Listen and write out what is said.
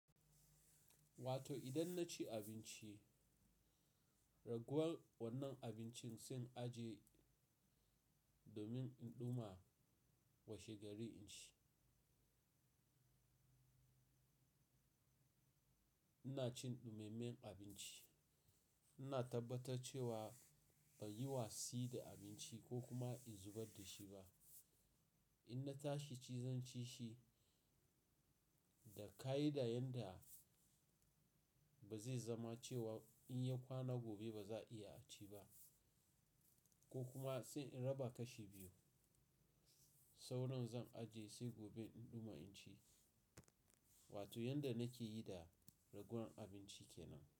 Wato idan na ci abinci, raguwan wannan abincin sai in ajiye domin in ɗuma washe gari in ci. Ina cin ɗumemen abinci. Ina tabbatar cewa ban yi wasi da abinci ko kuma in zubar da shi ba. In na tashi ci zan ci shi, da ka yi yanda ba zai zama cewa in yi kwana gobe ba za a iya ci ba, ko kuma sai in raba kashi biyu. Saura zan ajiye sai gobe in ɗuma in ci. Wato yanda nake yi da raguwar abinci ke nan.